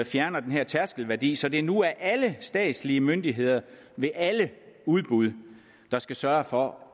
fjerner den her tærskelværdi så det nu er alle statslige myndigheder der ved alle udbud skal sørge for